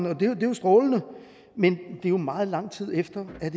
og det er jo strålende men det er meget lang tid efter at